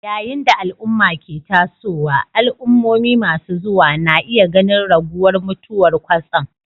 Yayin da al'umma ke tasowa, al'ummomi masu zuwa na iya ganin raguwar mutuwar kwatsam